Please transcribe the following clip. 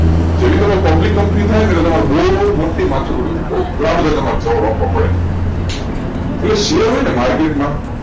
જેવી તમારી public company થાય ને બહુ મોટી માથાકૂટો ઊભી થાય એ શેર હોય ને market મા